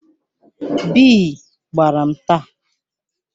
Bii gbara m taa.